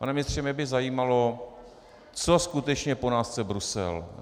Pane ministře, mě by zajímalo, co skutečně po nás chce Brusel.